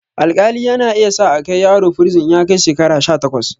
Alƙali yana iya sa akai yaro firizin in ya kai shekara sha takwas